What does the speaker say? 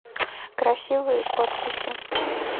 красивые подписи